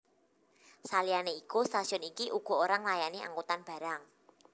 Saliyane iku stasiun iki uga ora nglayani angkutan barang